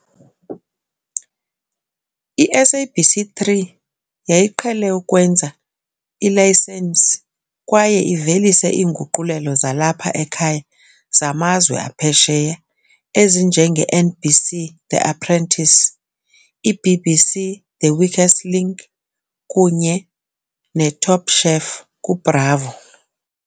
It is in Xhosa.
I-SABC3 yayiqhele ukwenza ilayisensi kwaye ivelise iinguqulelo zalapha ekhaya zamazwe aphesheya ezinje nge-NBC The Apprentice, i-BBC The Weakest Link kunye n Top Chef ku Bravo.